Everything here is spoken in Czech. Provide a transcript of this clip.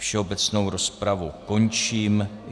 Všeobecnou rozpravu končím.